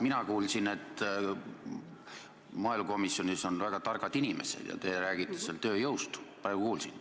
Mina kuulsin, et maaelukomisjonis on väga targad inimesed, ja te rääkisite praegu ka tööjõust.